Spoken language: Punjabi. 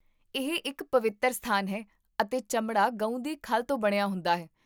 ਇਹ ਇੱਕ ਪਵਿੱਤਰ ਸਥਾਨ ਹੈ ਅਤੇ ਚਮੜਾ ਗਊ ਦੀ ਖੱਲ ਤੋਂ ਬਣਿਆ ਹੁੰਦਾ ਹੈ